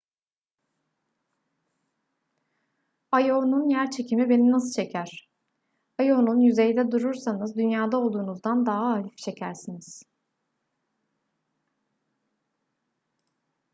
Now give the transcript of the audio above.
io'nun yerçekimi beni nasıl çeker io'nun yüzeyinde durursanız dünya'da olduğunuzdan daha hafif çekersiniz